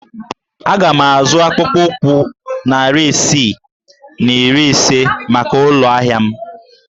Aga m azụ akpụkpọ ụkwụ narị isii na iri ise maka ụlọ ahịa m